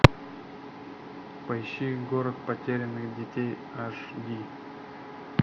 поищи город потерянных детей аш ди